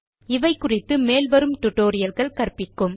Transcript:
இவை குறித்து மேல் வரும் டுடோரியல்கள் கற்பிக்கும்